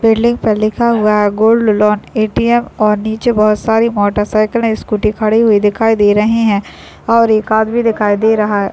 Building पे लिखा हुआ है गोल्ड लोन ए.टी.एम. और नीचे बहुत सारी मोटरसाइकिले स्कूटी खड़ी हुई दिखाई दे रहे है और एक आदमी दिखाई दे रहा है ।